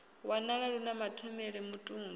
wanala lu na mathomele mutumbu